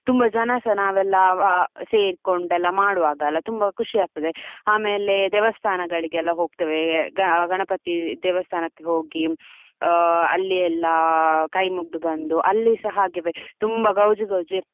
ತುಂಬಾ ಜನಸ ನಾವೆಲ್ಲಾ ಸೇರ್ಕೊಂಡು ಮಾಡ್ವಾಗ ಅಲ್ಲ ತುಂಬಾ ಖುಷಿ ಆಗ್ತದೆ. ಆಮೇಲೆ ದೇವಸ್ಥಾನಗಳಿಗೆ ಹೋಗ್ತೇವೆ ಗಣಪತಿ ದೇವಸ್ಥಾನಕ್ಕೆ ಹೋಗಿ ಅಲ್ಲಿ ಎಲ್ಲಾ ಕೈ ಮುಗ್ಗದು ಬಂದು ಅಲ್ಲಿಸ ಹಾಗೆವೆ ತುಂಬಾ ಗೌಜಿ, ಗೌಜಿ.